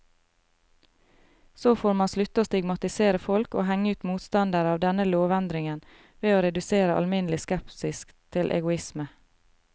Så får man slutte å stigmatisere folk og henge ut motstandere av denne lovendringen ved å redusere alminnelig skepsis til egoisme.